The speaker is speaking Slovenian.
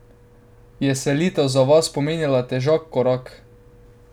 Je selitev za vas pomenila težek korak?